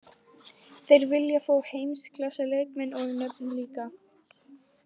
Þeir vilja fá heimsklassa leikmenn og nöfn líka.